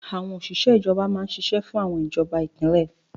Àwọn òṣìṣẹ́ ìjọba máa n ṣiṣẹ́ fún àwọn ìjọba ìpínlẹ̀